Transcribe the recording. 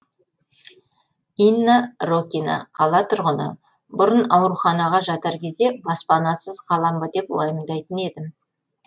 инна рокина қала тұрғыны бұрын ауруханаға жатар кезде баспанасыз қалам ба деп уайымдайтын едім